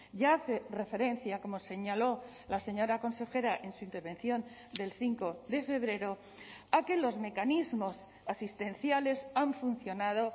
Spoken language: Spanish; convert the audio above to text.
ya hace referencia como señaló la señora consejera en su intervención del cinco de febrero a que los mecanismos asistenciales han funcionado